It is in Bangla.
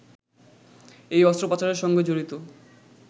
এই অস্ত্র পাচারের সঙ্গে জড়িত